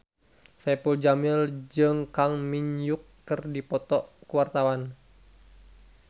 Saipul Jamil jeung Kang Min Hyuk keur dipoto ku wartawan